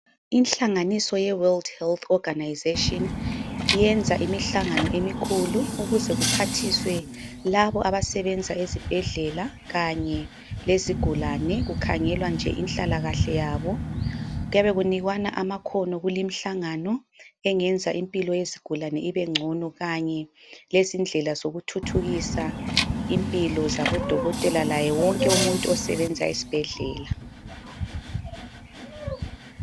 Ihlanganiso ye World Health Organization, yenza imihlangano emikhulu ukuze kuphathiswe labo abasebenza ezibhedlela kanye lezigulane kukhangelwa nje inhlalakahle yabo. Kuyabe kunikwana amakhono kulimihlangano engenza impilo yezigulane ibengcono kanye lezindlela zokuthuthukisa impilo zabodokodotela laye wonke umuntu osebenza esibhedlela.